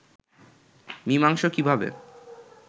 মীমাংসা কিভাবে